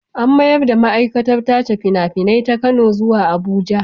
An mayar da ma'aikatar tace fina-finai ta Kano zuwa Abuja.